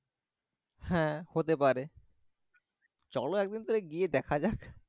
হ্যাঁ হতে পেরে চলো একদিন তাহলে দেখা যাক।